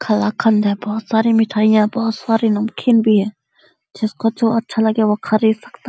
कला कन्द है बोहोत सारी मिठाइयां बोहोत सारी नमकीन भी है जिसको जो अच्छा लगे वो खरीद सकता --